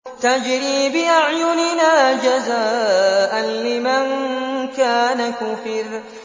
تَجْرِي بِأَعْيُنِنَا جَزَاءً لِّمَن كَانَ كُفِرَ